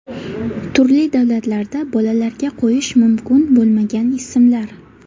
Turli davlatlarda bolalarga qo‘yish mumkin bo‘lmagan ismlar.